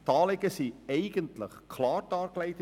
Die Anliegen werden in der Motion eigentlich klar dargelegt.